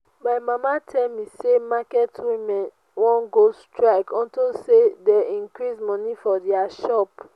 my mama tell me say market women wan go strike unto say dey increase money for their shop